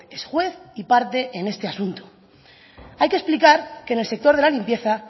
es juez y parte en este asunto hay que explicar que en el sector de la limpieza